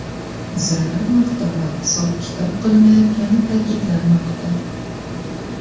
Zarar miqdori hisob-kitob qilinayotgani ta’kidlanmoqda.